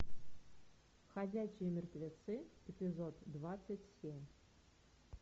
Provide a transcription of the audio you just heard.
ходячие мертвецы эпизод двадцать семь